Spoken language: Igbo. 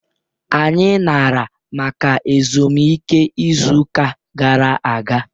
Anyị nara maka ezumike izu ụka gara aga.